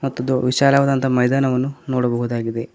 ಮತ್ತು ದೋ ವಿಶಾಲವಾದಂತ ಮೈದಾನವನ್ನು ನೋಡಬಹುದು.